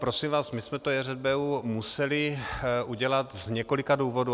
Prosím vás, my jsme to JŘBU museli udělat z několika důvodů.